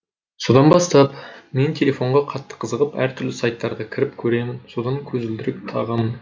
содан бастап мен телефонға қатты қызығып әртүрлі сайттарға кіріп көремін содан көзілдірік тағамын